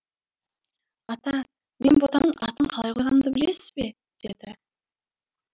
ата мен ботамның атын қалай қойғанымды білесіз бе деді